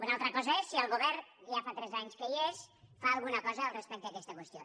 una altra cosa és si el govern ja fa tres anys que hi és fa alguna cosa respecte a aquesta qüestió